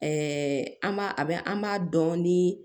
an b'a a bɛ an b'a dɔn ni